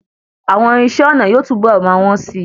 Àwọn irinṣé ọnà yóò tún bọ̀ máa wn sí.